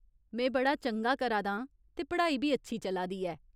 में बड़ा चंगा करा दा आं ते पढ़ाई बी अच्छी चला दी ऐ।